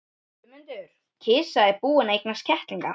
GUÐMUNDUR: Kisa er búin að eignast kettlinga.